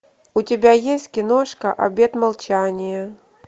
у тебя есть киношка обет молчания